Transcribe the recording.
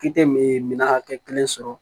K'i tɛ miiri minna hakɛ kelen sɔrɔ